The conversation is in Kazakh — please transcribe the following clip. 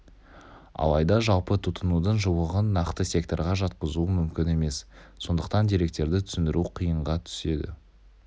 алайда жалпы тұтынудың жуығын нақты секторға жатқызу мүмкін емес сондықтан деректерді түсіндіру қиынға түседі